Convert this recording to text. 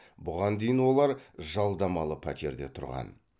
бұған дейін олар жалдамалы пәтерде тұрған